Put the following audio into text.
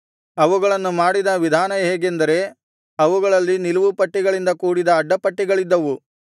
ಅವುಗಳನ್ನು ಮಾಡಿದ ವಿಧಾನ ಹೇಗೆಂದರೆ ಅವುಗಳಲ್ಲಿ ನಿಲುವು ಪಟ್ಟಿಗಳಿಂದ ಕೂಡಿದ ಅಡ್ಡಪಟ್ಟಿಗಳಿದ್ದವು